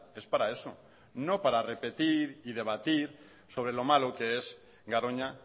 es para eso no para repetir y debatir sobre lo malo que es garoña